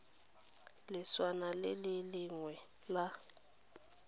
leswana le le lengwe la